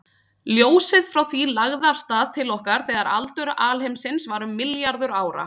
Ljósið frá því lagði af stað til okkar þegar aldur alheimsins var um milljarður ára.